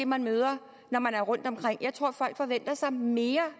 man møder når man er rundtomkring jeg tror folk forventer sig mere